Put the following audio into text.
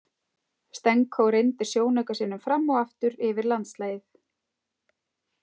Stenko renndi sjónauka sínum fram og aftur yfir landslagið.